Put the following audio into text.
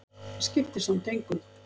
Það skiptir samt engu,